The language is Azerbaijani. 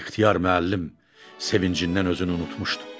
İxtiyar müəllim sevincindən özünü unutmuşdu.